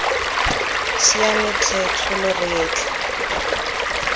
siame tlhe tsholo re etla